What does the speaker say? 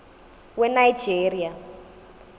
wenigeria